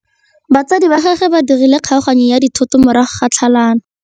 Batsadi ba gagwe ba dirile kgaoganyô ya dithoto morago ga tlhalanô.